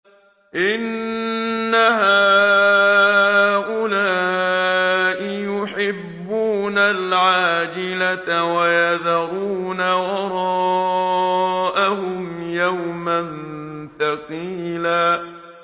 إِنَّ هَٰؤُلَاءِ يُحِبُّونَ الْعَاجِلَةَ وَيَذَرُونَ وَرَاءَهُمْ يَوْمًا ثَقِيلًا